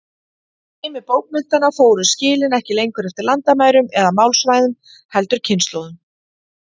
Í heimi bókmenntanna fóru skilin ekki lengur eftir landamærum eða málsvæðum, heldur kynslóðum.